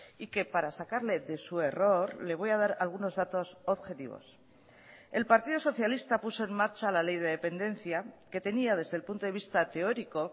y que para sacarle de su error le voy a dar algunos datos objetivos el partido socialista puso en marcha la ley de dependencia que tenía desde el punto de vista teórico